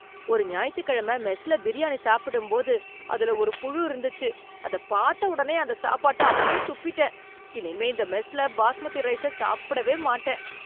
ஒரு ஞாயித்துக்கிழமை மெஸ்ல பிரியாணி சாப்பிடும்போது அதுல ஒரு புழு இருந்துச்சு, அத பாத்த ஒடனே அந்த சாப்பாட்ட அப்டியே துப்பிட்டேன். இனிமே இந்த மெஸ்ல பாஸ்மதி ரைஸ சாப்பிடவே மாட்டேன்.